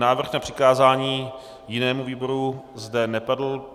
Návrh na přikázání jinému výboru zde nepadl.